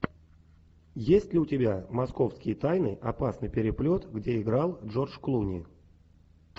есть ли у тебя московские тайны опасный переплет где играл джордж клуни